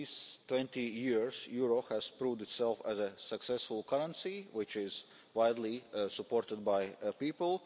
those twenty years the euro has proved itself a successful currency which is widely supported by people.